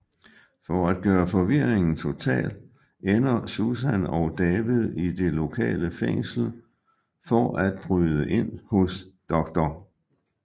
For at gøre forvirringen total ender Susan og David i det lokale fængsel for at bryde ind hos dr